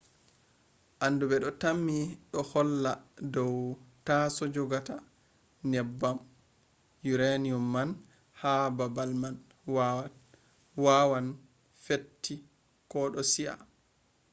anduɓe ɗo tammi ɗo ɗo holla dow taaso jogata nyebbam uranium man ha babal man waawan fetti ko ɗo si'a